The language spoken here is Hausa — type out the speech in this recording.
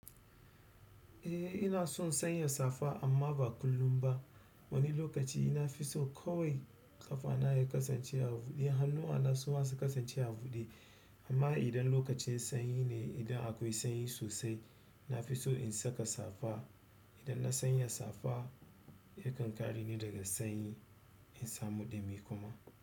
Eh ina son sanya safa amma ba kullum ba. Wani lokaci nafi son kawai ƙafa na ya kasance a buɗe. Hannuwa na su ma su kasance a buɗe. Amma idan lokacin sanyi ne, idan akwai sanyi sosai, na fi so in saka safa. Idan na sanya safa yakan kare ni daga sanyi in samu ɗumi kuma.